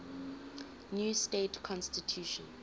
new state constitution